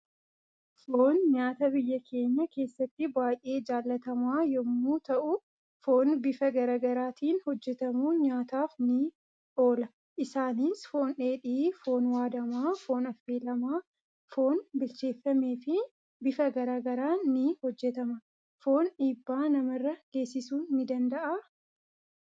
Foon nyaata biyya keenya kessatti baay'ee jallatama yommuu ta'u foon bifa garaa garaatiin hojjetamuun nyaataaf nii oolaa isaanis: foon dheedhii, foon waadama ,foon affelama ,foon bilcheefame fi bifa garaa garaa ni hojjetama. Foon dhibba namarraa geesisu ni danda'aa?